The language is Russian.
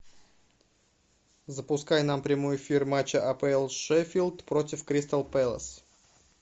запускай нам прямой эфир матча апл шеффилд против кристал пэлас